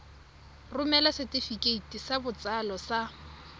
romela setefikeiti sa botsalo sa